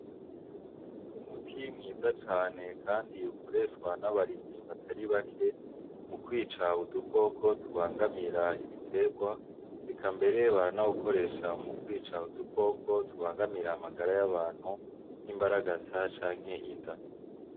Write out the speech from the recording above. Umuti mwiza cane kandi ukoreshwa n'abarimyi batari bake mu kwica udukoko tubangamira ibiterwa eka mbere baranawukoresha mu kwica udu koko tubangamira amagara y'abantu nk'imbaragasa canke inda.